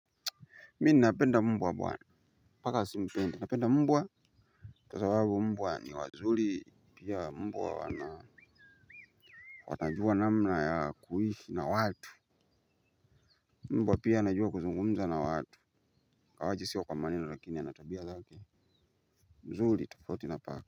Mi ninapenda mbwa bwana. Paka si mpenda napenda mbwa kwa zababu mbwa ni wazuli pia mbwa wanaa. Wanajua namna ya kuhishi na watu. Mbwa pia anajua kuzungumza na watu Kawaji siwa kwa manina lakini anatabia zake. Mzuli tafauti na paka.